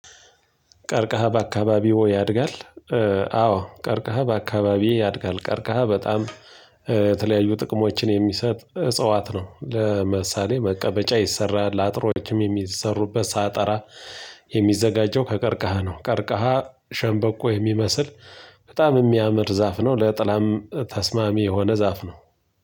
ቀርክሃ በአካባቢዎ ያድጋል? አዎ ቀርክሃ በአካባቢዬ ያድጋል ቀርክሃ በጣም የተለያዩ ጥቅሞችን የሚሰጥ እጽዋት ነው ለምሳሌ መቀበመጫ ይሰራል ለአጥሮችም የሚሰሩበት ሳጠራ የሚዘጋጀው ከቀርክሃ ነው ቀርክሃ ሸንበቆ የሚመስል በጣም የሚያምር ዛፍ ነው ለጥላም ተስማሚ የሆነ ዛፍ ነው